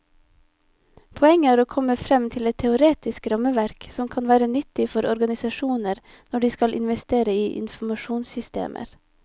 Poenget er å komme frem til et teoretisk rammeverk som kan være nyttig for organisasjoner når de skal investere i informasjonssystemer.